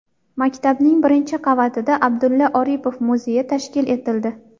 Maktabning birinchi qavatida Abdulla Oripov muzeyi tashkil etildi.